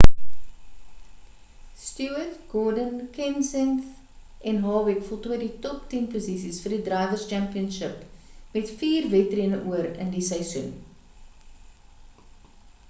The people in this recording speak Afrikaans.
stewart gordon kenseth en harvick voltooi die top tien posisies vir die drivers' championship met vier wedrenne oor in die seisoen